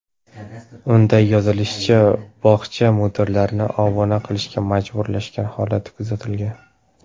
Unda yozilishicha, bog‘cha mudiralarini obuna qilishga majburlash holati kuzatilgan.